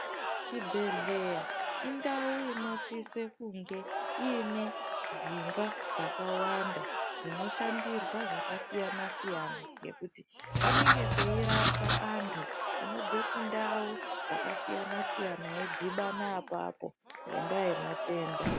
Chibhedhlera indau inosise kunge iine dzimba dzakawanda dzinoshandirwa zvakasiyana-siyana ngekuti panenge peirapwa antu anobve kundau dzakasiyana-siyana eidhibana apapo ngendaa yematenda.